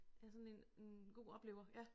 Ja sådan en en god oplever